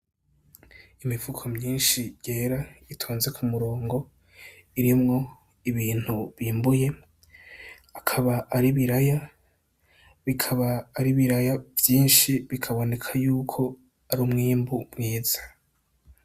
Imifuko myishi yera itonze ku murongo irimwo ibintu bimbuye akaba ari ibiraya bikaba ari ibiraya vyishi bikaboneka yuko ari umwimbu mwiza.